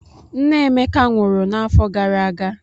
Nne Emeka nwụrụ n'afọ gara aga.